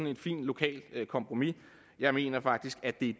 et fint lokalt kompromis jeg mener faktisk at det